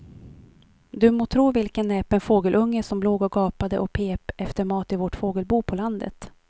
Du må tro vilken näpen fågelunge som låg och gapade och pep efter mat i vårt fågelbo på landet.